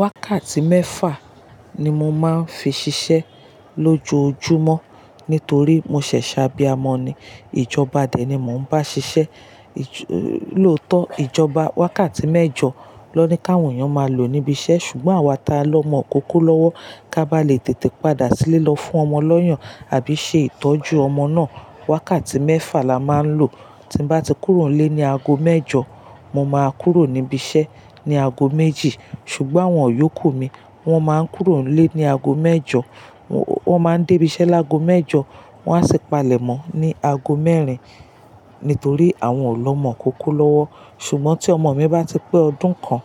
Wákàtí mẹ́fà ni mo máa ń fi ṣiṣẹ́ lójoojúmọ́ nítorí mo ṣẹ̀ ṣẹ̀ àbí amọ̀ ni. Ìjọba dẹ ni mò ń bá ṣiṣẹ́. Lóòótọ́, ìjọba wákàtí mẹ́jọ ló ní ká wọ̀n èèyán máa lò níbi iṣẹ́ ṣùgbọ́n àwa ta lọ́ mọ̀ ọkọkọ lọ́wọ́ ká bá le tètè padà sílé lọ fún ọmọ lọ́yàn àbí ṣe ìtọ́jú ọmọ náà. Wákàtí mẹ́fà la máa ń lò. Tí m bá ti kúrò nílé ní aago mẹ́jọ, mo máa kúrò níbi iṣẹ́ ní aago méjì ṣùgbọ́n awọ́n yóò kú mi. Wọ́n máa ń kúrò nílé ní aago mẹ́jọ, wọ́n máa ń dé ibi iṣẹ́ láago mẹ́jọ, wọ́n á sì palẹ̀mọ́ ní aago mẹ́rin nítorí àwọn ò lọ́ mọ̀ ọkọkọ lọ́wọ́. Ṣùgbọ́n tí ọmọ mi bá ti pé ọdún kan,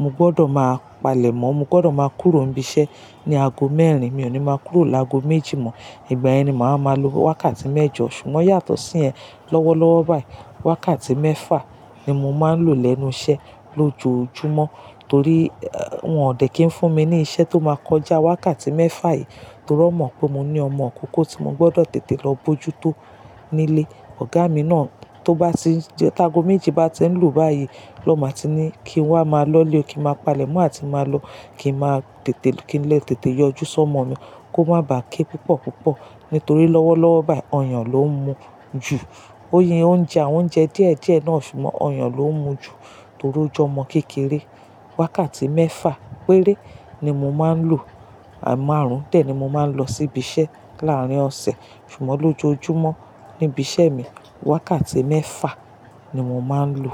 mo gbọdọ̀ máa palẹ̀mọ́, mo gbọdọ̀ máa kúrò n ibí iṣẹ́ ní aago mẹ́rin, mi ò ní máa kúrò láago méjì mọ́. Ìgbà yẹn ni màá máa lo wákàtí mẹ́jọ ṣùgbọ́n yàtọ̀ sí yen lọ́wọ́lọ́wọ́ báyìí. Wákàtí mẹ́fà ni mo máa ń lò lẹ́nu iṣẹ́ lójoojúmọ́ torí wọ́n ò dẹ̀ kí ń fún mi ní iṣẹ́ tó máa kọjá wákàtí mẹ́fà yìí torí wọ́n mọ̀ pé mo ní ọmọ ọkọkọ tí mo gbọdọ̀ tètè lọ bojútó nílé. Ọ̀gá mi náà tó bá ti, ta aago méjì bá ti ń lù báyìí lọ́ máa ti ní kí n wá máa lọ́lé kí n máa palẹ̀mọ́ àti máa lọ kí n máa tètè kí n lè tètè yọjú sí ọmọ mi kó má ba à ké púpọ̀púpọ̀ nítorí lọ́wọ́lọ́wọ́ báyìí ọyàn ló ń mú ju. Ó ye oúnjẹ, àwọn oúnjẹ díẹ̀díẹ̀ náà ṣùgbọ́n ọyàn ló ń mú ju torí ó jọmọ kékeré. Wákàtí mẹ́fà péré ni mo máa ń lò. Ẹ̀ márùn dẹ̀ ni mo máa ń lọ sí ibi iṣẹ́ láàárín ọ̀sẹ̀ ṣùgbọ́n lójoojúmọ́ níbi iṣẹ́ mi, wákàtí mẹ́fà ni mo máa ń lò.